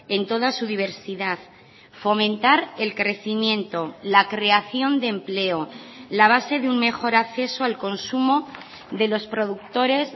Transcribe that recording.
en toda su diversidad fomentar el crecimiento la creación de empleo la base de un mejor acceso al consumo de los productores